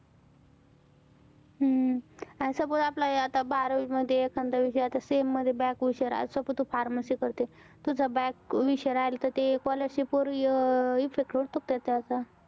हम्म आणि suppose आता आपला बारावी मध्ये कोणत्या sem मध्ये back विषय राहिला. suppose तू pharmacy करते. तुझा back विषय राहिला, तर ते scholarship वर effect होतो का त्याचा?